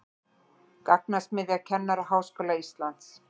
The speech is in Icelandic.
Gagnasmiðja Kennaraháskóla Íslands